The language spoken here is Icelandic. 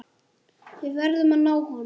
Við verðum að ná honum.